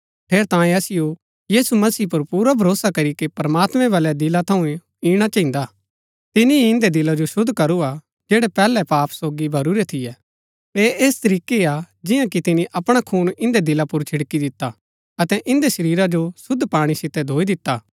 ठेरैतांये असिओ यीशु मसीह पुर पुरा भरोसा करीके प्रमात्मैं बलै दिला थऊँ इणा चहिन्दा तिनी ही इन्दै दिला जो शुद्ध करू हा जैड़ै पैहलै पाप सोगी भरूरै थियै ऐह ऐस तरीकै हा जियां कि तिनी अपणा खून इन्दै दिला पुर छिड़की दिता अतै इन्दै शरीरा जो शुद्ध पाणी सितै धोई दिता